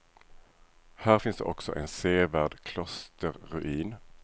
Här finns också en sevärd klosterruin.